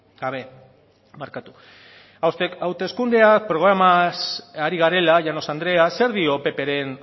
gabe hauteskunde programaz ari garela llanos andrea zer dio ppren